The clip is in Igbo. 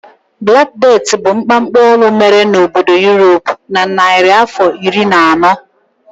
Black Death bụ mkpamkpa ọnwụ mere n'obodo Europe na narịafọ iri na anọ.